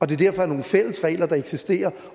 det derfor er nogle fælles regler der eksisterer